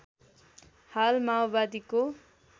हाल माओवादीको